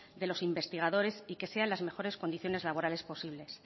de los investigadores y que sea en las mejores condiciones laborales posibles